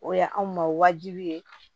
O ye anw ma wajibi ye